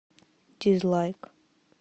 дизлайк